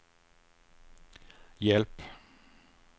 hjälp